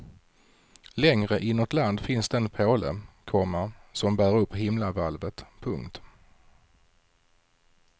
Längre inåt land finns den påle, komma som bär upp himlavalvet. punkt